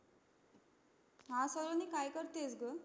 हा सलोणी काय करतेएस ग